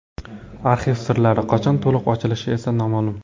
Arxiv sirlari qachon to‘liq ochilishi esa noma’lum.